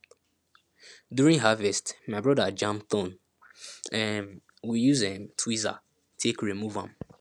during harvest my brother jam thorn um we use um tweezer take remove am